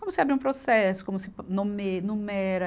Como se abria um processo, como se nume, numera,